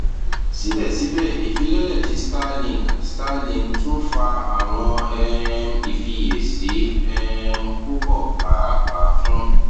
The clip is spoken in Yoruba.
sibẹsibẹ ifilọlẹ ti starlink starlink tun fa awọn um ifiyesi um pupọ paapaa fun